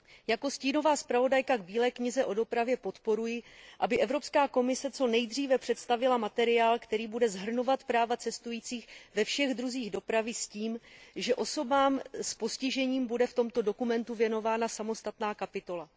Jako stínová zpravodajka k Bílé knize o dopravě podporuji, aby Evropská komise co nejdříve představila materiál, který bude shrnovat práva cestujících ve všech druzích dopravy s tím, že osobám s postižením bude v tomto dokumentu věnována samostatná kapitola.